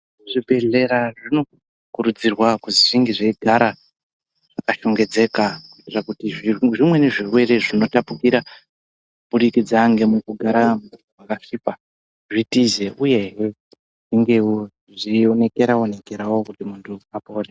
Zvibhedhlera zvinokurudzirwa kuzi zvinge zveigara zvakashongedzeka kuitira kuti zvimweni zvirwere zvinotapukira kubudikudza ngemukugara pakasviba zvitize uyehe zvingewo zveionekera onekerawo kuti muntu apore.